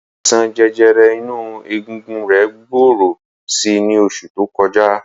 Àìsàn jẹjẹrẹ inú egungun rẹ̀ gbòòrò si ní oṣù tó kọjá.